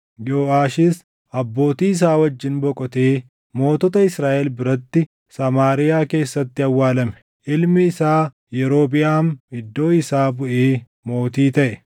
Yooʼaashis abbootii isaa wajjin boqotee mootota Israaʼel biratti Samaariyaa keessatti awwaalame. Ilmi isaa Yerobiʼaam iddoo isaa buʼee mootii taʼe.